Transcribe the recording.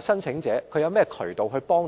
申請者可以通過甚麼渠道求助？